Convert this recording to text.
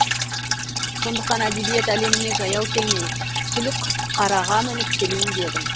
сондықтан әдебиет әлеміне жаяу келмей сүлікқараға мініп келейін дедім